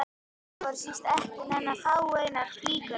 Þetta voru víst ekki nema fáeinar flíkur allt í allt.